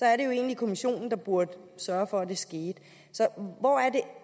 er jo egentlig kommissionen der burde sørge for at det skete så hvor er det